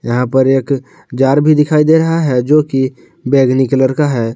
यहाँ पर एक जार भी दिखाई दे रहा है जोकि बैगनी कलर का है।